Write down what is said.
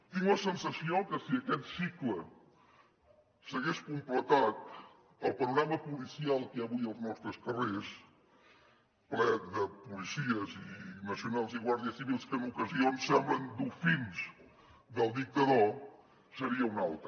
tinc la sensació que si aquest cicle s’hagués completat el panorama policial que hi ha avui als nostres carrers ple de policies nacionals i guàrdies civils que en ocasions semblen dofins del dictador seria un altre